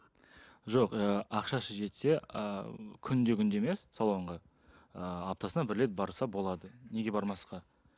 жоқ ыыы ақшасы жетсе ы күнде күнде емес салонға ы аптасына бір рет барса болады неге бармасқа